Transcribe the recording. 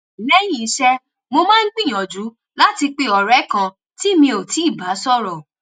lẹ́yìn iṣẹ́ mo máa ń gbìyànjú láti pe ọ̀rẹ́ kan tí mi ò tíì bá sọ̀rọ̀